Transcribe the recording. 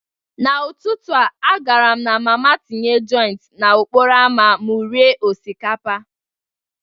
N'ụtụtụ a, agara m mama tinye Joint n'okporo ámá m rie osikapa.